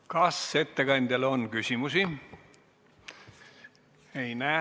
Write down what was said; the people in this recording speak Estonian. Kas ettekandjale on küsimusi?